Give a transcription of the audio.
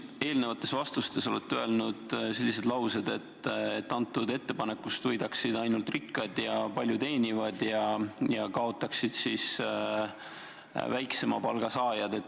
Te oma eelnevates vastustes olete öelnud selliseid lauseid, et antud ettepanekust võidaksid ainult rikkad ja palju teenivad ning kaotaksid väiksema palga saajad.